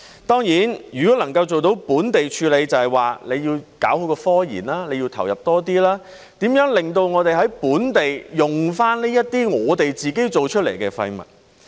當然，要做到本地處理，便要搞好科研，要投入多一點，研究如何令我們能夠在本地重用這些我們自己製造的廢物。